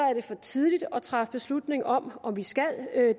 er det for tidligt at træffe beslutning om om vi skal